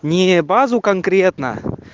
не базу конкретно